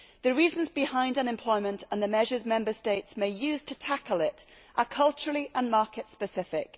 The reasons behind unemployment and the measures Member States may use to tackle it are culturally specific and market specific.